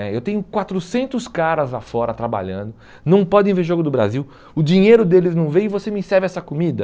né Eu tenho quatrocentos caras lá fora trabalhando, não podem ver o jogo do Brasil, o dinheiro deles não vem e você me serve essa comida?